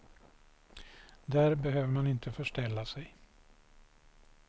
Där behöver man inte förställa sig.